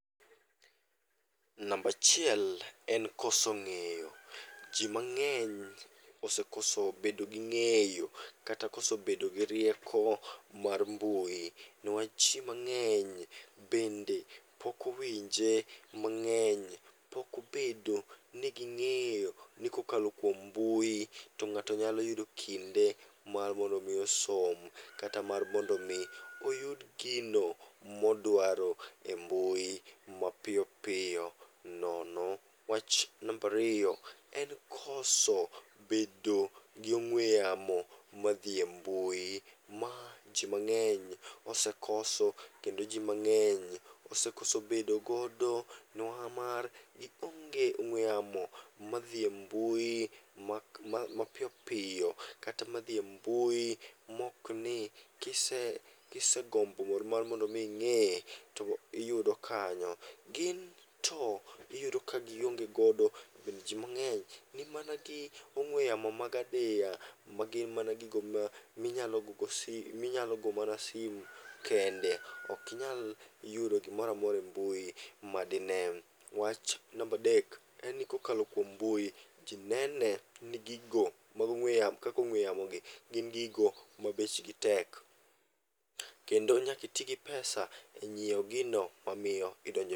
Nambachiel en koso ng'eyo. Ji mang'eny osekoso bedo gi ng'eyo kata koso bedo gi rieko mar mbui. Niwach ji mang'eny bende pokowinje mang'eny, pokobedo ni ging'eyo ni kookalo kuom mbui to ng'ato nyalo yudo kinde mar mondo mi osom. Kata mar mondo mi oyud gino modwaro e mbui mapiyopiyo nono. Wach nambariyo en koso bedo gi ong'we yamo ma dhi e mbui, ma ji mang'eny osekoso kendo ji mang'eny ose koso bedogodo nihamar gionge ong'we yamo madhi e mbui mapiyo piyo. Kata madhi e mbui mokni kise, kise gombo mondo mar mondo mi ing'e to iyudo kanyo. Gin to iyudo ka gionge godo ji mang'eny ni mana gi ong'we yamo maga adiya. Magin mana gigo ma minyalo gogo sim, minyalo go mana simu kende. Okinyal yudo gimoramora e mbui ma dine. Wach nambadek en ni kokalo kuom mbui, ji nene ni gigo mag ong'we yamo kakong'we yamo gi gin gigo ma bechgi tek. Kendo nyakiti gi pesa e nyiewo gino mamiyo idonjo.